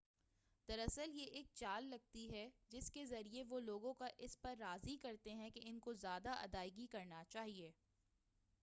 دراصل یہ ایک چال لگتی ہے جس کے ذریعہ وہ لوگوں کو اس پر راضی کرتے ہیں کہ ان کو زیادہ ادائگی کرنا چاہئے